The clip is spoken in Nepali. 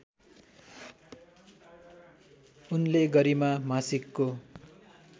उनले गरिमा मासिकको